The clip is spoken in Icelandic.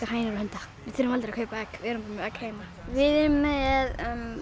hænur og hunda þurfum aldrei að kaupa egg við erum með egg heima við erum með